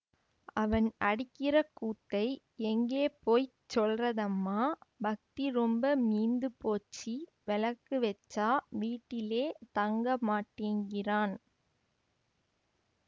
அவன் அடிக்கிற கூத்தை எங்கே போயிச் சொல்றதம்மா பக்தி ரொம்ப மீந்து போச்சிவௌக்கு வெச்சா வீட்டிலே தங்கமாட்டேங்கிறான்